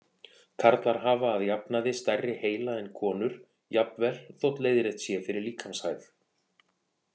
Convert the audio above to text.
Karlar hafa að jafnaði stærri heila en konur, jafnvel þótt leiðrétt sé fyrir líkamshæð.